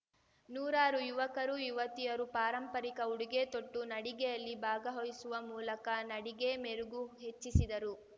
ನೂರಾರು ಯುವಕರು ಯುವತಿಯರು ಪಾರಂಪರಿಕ ಉಡುಗೆ ತೊಟ್ಟು ನಡಿಗೆಯಲ್ಲಿ ಭಾಗವಹಿಸುವ ಮೂಲಕ ನಡಿಗೆ ಮೆರುಗು ಹೆಚ್ಚಿಸಿದರು